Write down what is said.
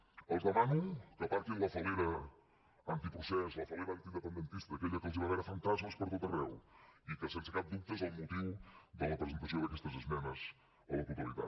els demano que aparquin la fal·lera antiprocés la fal·lera antiindependentista aquella que els fa veure fantasmes per tot arreu i que sense cap dubte és el motiu de la presentació d’aquestes esmenes a la totalitat